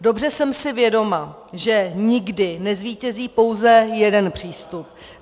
Dobře jsem si vědoma, že nikdy nezvítězí pouze jeden přístup.